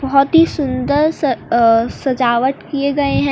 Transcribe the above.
बहुत ही सुंदर सा अह सजावट किए गए हैं।